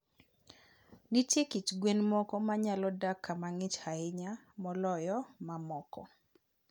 Nitie kit gwen moko ma nyalo dak kama ng'ich ahinya moloyo mamoko.